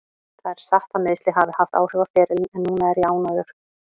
Það er satt að meiðsli hafa haft áhrif á ferilinn en núna er ég ánægður.